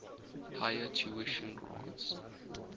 higher tuition grants